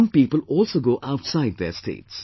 Some people also go outside their states